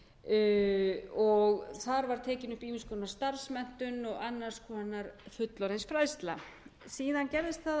um fullorðinsfræðslumiðstöðvar þar var tekin upp ýmiss konar starfsmenntun og annars konar fullorðinsfræðsla síðan gerðist það að fræðslumiðstöð